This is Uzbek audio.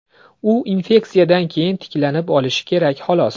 U infeksiyadan keyin tiklanib olishi kerak, xolos.